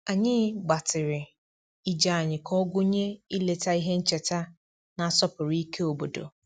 Anyị gbatịrị ije anyị ka ọ gụnye ileta ihe ncheta na-asọpụrụ ike obodo